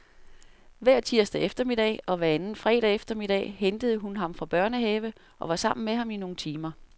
Hver tirsdag eftermiddag og hver anden fredag eftermiddag hentede hun ham fra børnehave og var sammen med ham i nogle timer.